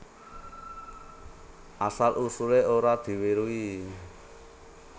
Asal usulé ora diweruhi